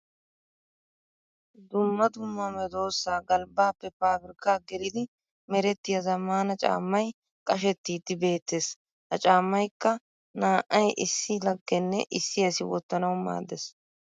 Dumma dumma medosa galbbappe pabirkka geliddi merettiya zamaana caamay qashettiddi beettees. Ha caamaykka naa'ay issi laggenne issi asi wotanawu maadees.